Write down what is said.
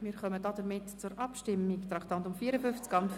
Wir kommen damit zur Abstimmung zu Traktandum 54: